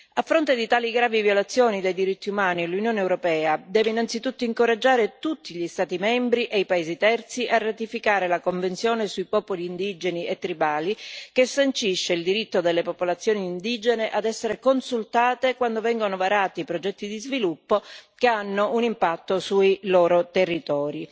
A fronte di tali gravi violazioni dei diritti umani, l'Unione europea deve innanzitutto incoraggiare tutti gli Stati membri e i paesi terzi a ratificare la Convenzione sui popoli indigeni e tribali, che sancisce il diritto delle popolazioni indigene a essere consultate quando vengono varati progetti di sviluppo che hanno un impatto sui loro territori.